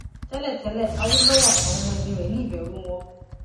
tẹlẹtẹlẹ awolowo àtàwọn ọmọ ẹyìn rẹ ní ìbẹrù wọn